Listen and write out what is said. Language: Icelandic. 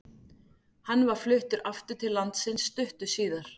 Hann var fluttur aftur til landsins stuttu síðar.